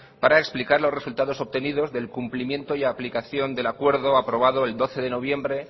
para explicar los resultados obtenidos de el cumplimiento y aplicación del acuerdo aprobado el doce de noviembre